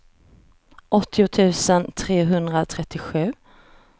åttio tusen trehundratrettiosju